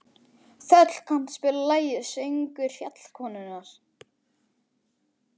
Þöll, kanntu að spila lagið „Söngur fjallkonunnar“?